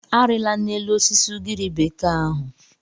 Arịla n'elu osisi ugiri bekee ahụ.